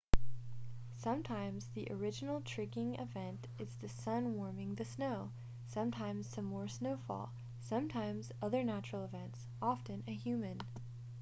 sometimes the original trigging event is the sun warming the snow sometimes some more snowfall sometimes other natural events often a human